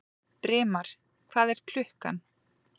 Brimar, hvað er klukkan?